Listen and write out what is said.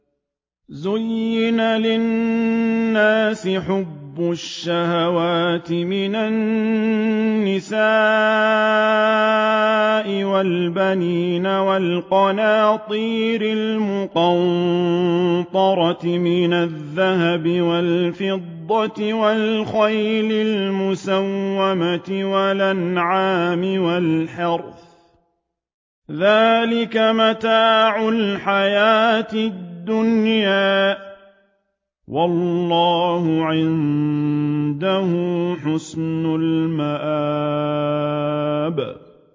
زُيِّنَ لِلنَّاسِ حُبُّ الشَّهَوَاتِ مِنَ النِّسَاءِ وَالْبَنِينَ وَالْقَنَاطِيرِ الْمُقَنطَرَةِ مِنَ الذَّهَبِ وَالْفِضَّةِ وَالْخَيْلِ الْمُسَوَّمَةِ وَالْأَنْعَامِ وَالْحَرْثِ ۗ ذَٰلِكَ مَتَاعُ الْحَيَاةِ الدُّنْيَا ۖ وَاللَّهُ عِندَهُ حُسْنُ الْمَآبِ